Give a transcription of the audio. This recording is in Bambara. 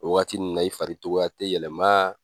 O waati nunnu na i fari togoya tɛ yɛlɛma